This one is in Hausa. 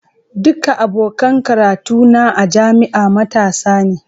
Duka abokan karatu na a jami'a matasa ne.